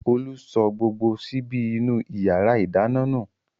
Olú sọ gbogbo ṣíbí inú ìyàrá-ìdáná nù.